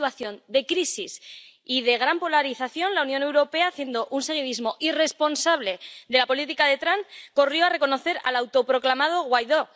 En una situación de crisis y de gran polarización, la Unión Europea, haciendo un seguidismo irresponsable de la política de Trump, corrió a reconocer al autoproclamado Guaidó.